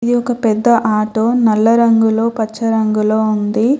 ఇది ఒక పెద్ద ఆటో . నల్ల రంగులో పచ్చ రంగులో ఉంది.